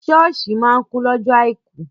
Sọ́ọ̀ṣì máa kún lọ́jọ àìkú.